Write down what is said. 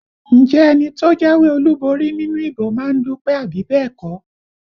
Ǹjẹ́ ẹni tó jáwé olúborí nínú ìbò má ń dúpẹ́ àbí bẹ́ẹ̀ kọ́?